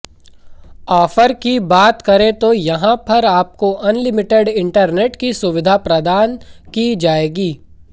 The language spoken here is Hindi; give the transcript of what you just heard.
ऑफर की बात करें तो यहां पर आपको अनलिमिटेड इंटरनेट की सुविधा प्रदान की जाएगी